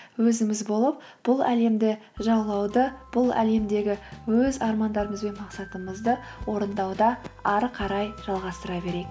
өзіміз болып бұл әлемді жалғауды бұл әлемдегі өз армандарымыз бен мақсатымызды орындауды ары қарай жалғастыра берейік